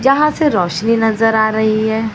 जहां से रोशनी नजर आ रही है।